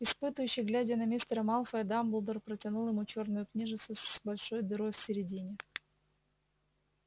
испытующе глядя на мистера малфоя дамблдор протянул ему чёрную книжицу с большой дырой в середине